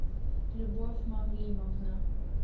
любовь мавлимовна